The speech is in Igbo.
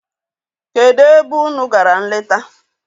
Kedụ ebe unu gara nleta?